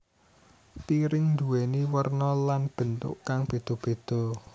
Piring nduwéni werna lan bentuk kang beda beda